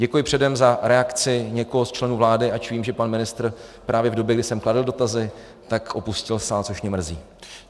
Děkuji předem za reakci někoho z členů vlády, ač vím, že pan ministr právě v době, kdy jsem kladl dotazy, tak opustil sál, což mě mrzí.